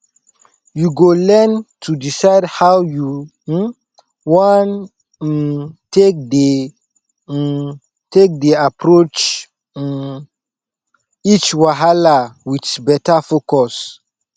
yu go learn to decide how yu um wan um take dey um take dey approach um each wahala wit beta focus